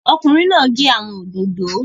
Ọkùnrin náà n gé àwọn òdòdó